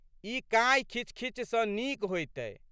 ई काँइखिचखिच सँ नीक होइतै।